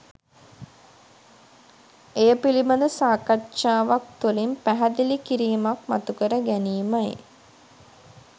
එය පිළිබඳ සාකච්ඡාවක් තුලින් පැහැදිලි කිරීමක් මතුකර ගැනීමයි.